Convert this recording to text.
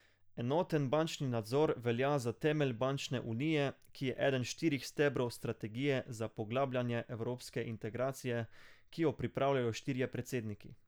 Enoten bančni nadzor velja za temelj bančne unije, ki je eden štirih stebrov strategije za poglabljanje evropske integracije, ki jo pripravljajo štirje predsedniki.